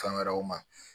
Fɛn wɛrɛw ma